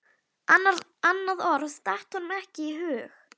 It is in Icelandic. Annað orð datt honum ekki í hug.